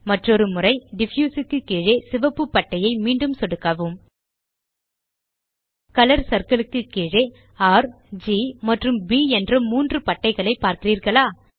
மற்றொரு முறை டிஃப்யூஸ் க்கு கீழே சிவப்பு பட்டையை மீண்டும் சொடுக்கவும் கலர் சிர்ல் க்கு கீழே ர் ஜி மற்றும் ப் என்ற மூன்று பட்டைகளை பார்க்கிறீர்களா